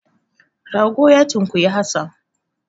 Rago na tunkuyi Hassan.